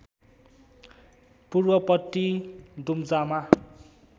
पूर्वपट्टि दुम्जामा